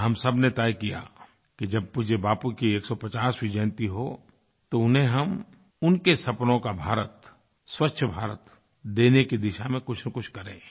और हम सब ने तय किया कि जब पूज्य बापू की 150वीं जयंती हो तो उन्हें हम उनके सपनों का भारत स्वच्छ भारत देने की दिशा में कुछनकुछ करें